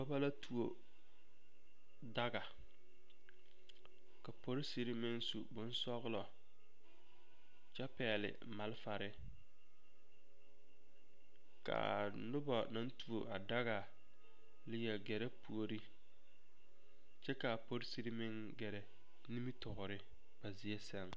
Dɔba la tuo daga ka polisiri meŋ su bonsɔglɔ kyɛ pɛgle malfare ka a noba naŋ tuo a daga leɛ gɛrɛ puori kyɛ ka a polisiri meŋ gɛrɛ nimitoori ba zie sɛŋ.